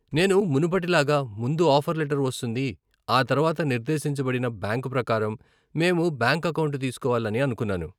నేను మునుపటి లాగా ముందు ఆఫర్ లెటర్ వస్తుంది, ఆ తర్వాత నిర్దేశింపబడిన బ్యాంకు ప్రకారం, మేము బ్యాంకు అకౌంట్ తీసుకోవాలని అనుకున్నాను.